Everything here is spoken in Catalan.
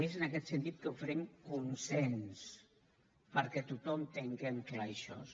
i és en aquest sentit que oferim consens perquè tothom tinguem clar això